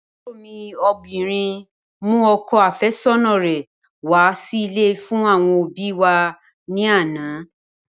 Àbúrò mi obìnrin mú ọkọ àfẹ́sọ́nà rẹ̀ wá sí ilé fún àwọn òbíi wa ní àná.